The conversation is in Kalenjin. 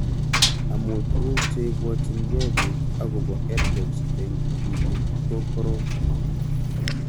amu tuguk che ipwatchinikei pik akopo EdTech eng' tipik ko korom